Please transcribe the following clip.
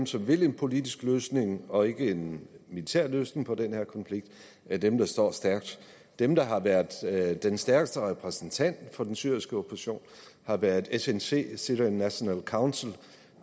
som vil en politisk løsning og ikke en militær løsning på den her konflikt er dem der står stærkt dem der har været den stærkeste repræsentant for den syriske opposition har været snc syrian national council